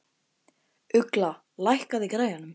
Ugla, lækkaðu í græjunum.